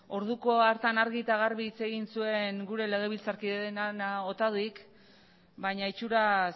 orduko hartan argi eta garbi hitz egin zuen gure legebiltzarkide den ana otaduik baina itxuraz